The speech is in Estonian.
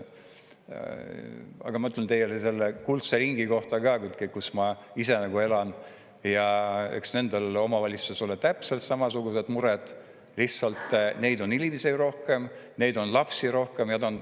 Aga ma ütlen teile selle kuldse ringi kohta, kus ma ise elan, eks nendel omavalitsustel ole täpselt samasugused mured, lihtsalt neil on inimesi rohkem, neil on lapsi rohkem.